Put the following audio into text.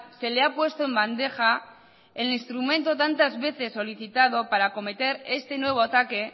se le ha puesto en bandeja el instrumento tantas veces solicitado para cometer este nuevo ataque